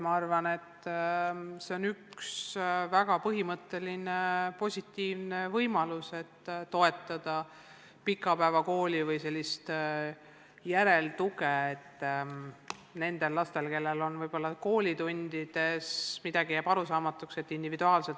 Ma arvan, et see on üks väga hea võimalus toetada pikapäevakooli ja anda nn järeltuge, et läheneda individuaalselt lastele, kellel koolitundides jääb midagi arusaamatuks.